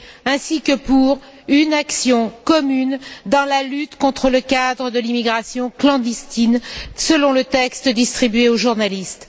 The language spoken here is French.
ainsi que pour une action commune dans la lutte contre le cadre de l'immigration clandestine, selon le texte distribué aux journalistes.